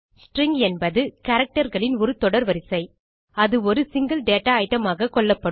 string என்பது characterகளின் ஒரு தொடர் வரிசை அது ஒரு சிங்கில் டேட்டா ஐட்டம் ஆக கொள்ளப்படும்